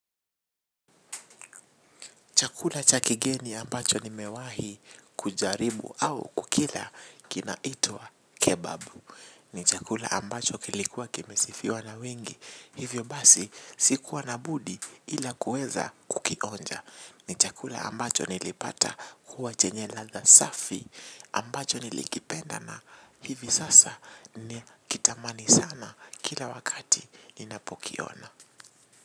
Chakula cha kigeni ambacho nimewahi kujaribu au kukila kina itwa kebabu. Ni chakula ambacho kilikuwa kimesifiwa na wengi. Hivyo basi sikuwa na budi ila kueza kukionja. Ni chakula ambacho nilipata kuwa chenye ladha safi ambacho nilikipenda na hivi sasa ni kitamani sana kila wakati inapokiona.